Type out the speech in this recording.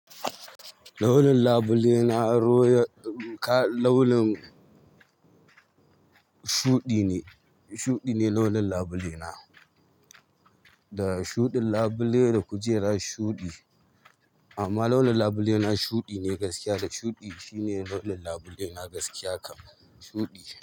Launin labule na roya, ka launin shuɗi ne, shuɗi ne launin labule na. Da shuɗin labule da kujera shuɗi. Amma launin labule na shuɗi ne gaskiya da shuɗi shine launin labule na gaskiya kam shuɗi.